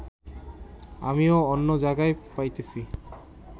আমিও অন্য জায়গায় পাইতেছি